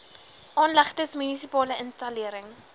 aanlegtes munisipale installering